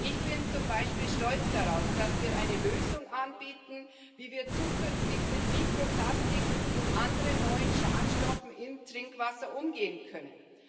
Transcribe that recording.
Ich bin zum Beispiel stolz darauf, dass wir eine Lösung anbieten, wie wir zukünftig mit Mikroplastik und anderen neuen Schadstoffen im Trinkwasser umgehen können.